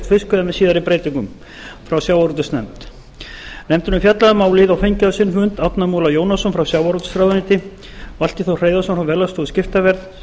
með síðari breytingum frá sjávarútvegsnefnd nefndin hefur fjallað um málið og fengið á sinn fund árna múla jónasson frá sjávarútvegsráðuneyti valtý þór hreiðarsson frá verðlagsstofu skiptaverðs